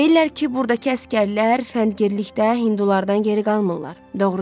Deyirlər ki, burdakı əsgərlər fəndgirlikdə hindulardan geri qalmırlar.